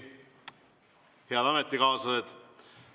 Head ametikaaslased!